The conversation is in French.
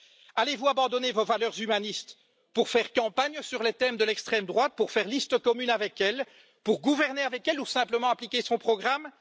Allez vous abandonner vos valeurs humanistes pour faire campagne sur les thèmes de l'extrême droite, pour faire liste commune avec elle, pour gouverner avec elle ou simplement appliquer son programme?